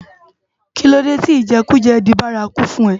Kilódé ti ijèkújè di bàrákú fún è?